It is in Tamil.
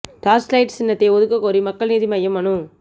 டார்ச் லைட் சின்னத்தை ஒதுக்கக் கோரி மக்கள் நீதி மய்யம் மனு